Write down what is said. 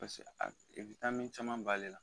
Paseke a be caman b'ale la.